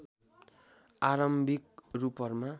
आरम्भिक रूपहरूमा